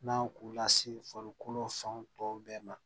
N'an k'u lase farikolo fanw tɔw bɛɛ ma